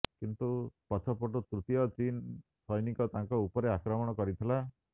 କିନ୍ତୁ ପଛପଟୁ ତୃତୀୟ ଚୀନ୍ ସୈନିକ ତାଙ୍କ ଉପରେ ଆକ୍ରମଣ କରିଥିଲା